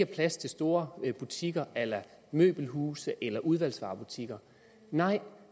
plads til store butikker a la møbelhuse eller udvalgsvarebutikker nej